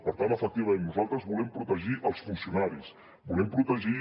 per tant efectivament nosaltres volem protegir els funcionaris volem protegir